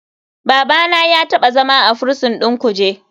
Babana ya taɓa zama a prison ɗin kuje.